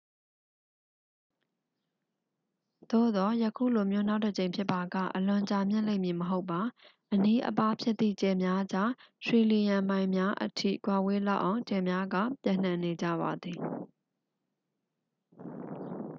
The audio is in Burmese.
"သို့သော် ယခုလိုမျိုး နောက်တစ်ကြိမ်ဖြစ်ပါက အလွန်ကြာမြင့်လိမ့်မည်မဟုတ်ပါ။ "အနီးအပါး" ဖြစ်သည့် ကြယ်များကြား ထရီလီယံမိုင်များအထိ ကွာဝေးလောက်အောင် ကြယ်များက ပျံ့နှံ့နေကြပါသည်။